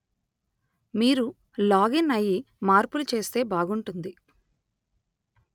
మీరు లాగిన్ అయి మార్పులు చేస్తే బాగుంటుంది